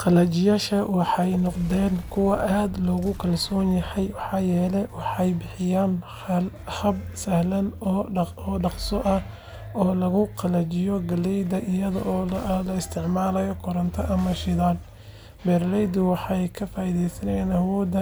Qalajiyaashan waxay noqdeen kuwo aad loogu kalsoon yahay maxaa yeelay waxay bixiyaan hab sahlan oo dhaqso ah oo lagu qalajiyo galleyda iyada oo aan la isticmaalin koronto ama shidaal. Beeralaydu waxay ka faa’iidaystaan awoodda